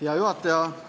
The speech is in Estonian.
Hea juhataja!